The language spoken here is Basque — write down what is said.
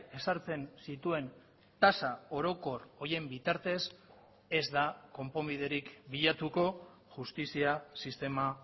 ezartzen zituen tasa orokor horien bitartez ez da konponbiderik bilatuko justizia sistema